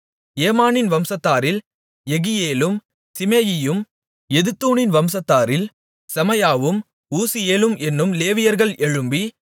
ஏமானின் வம்சத்தாரில் எகியேலும் சிமேயியும் எதுத்தூனின் வம்சத்தாரில் செமாயாவும் ஊசியேலும் என்னும் லேவியர்கள் எழும்பி